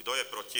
Kdo je proti?